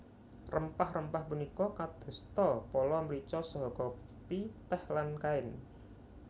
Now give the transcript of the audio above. Rempah rempah punika kadosta pala mrica saha kopi tèh lan kain